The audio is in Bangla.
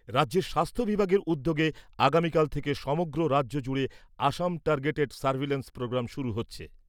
রাজ্যের স্বাস্থ্য বিভাগের উদ্যোগে আগামীকাল থেকে সমগ্র রাজ্যজুড়ে অসম টার্গেটেড সার্ভেইলেন্স প্রোগাম শুরু হচ্ছে।